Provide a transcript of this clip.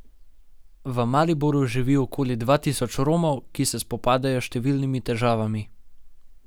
V Mariboru živi okoli dva tisoč Romov, ki se spopadajo s številnimi težavami.